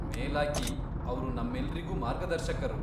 ಮೇಲಾಗಿ, ಅವ್ರು ನಮ್ಮೆಲ್ರಿಗೂ ಮಾರ್ಗದರ್ಶಕರು.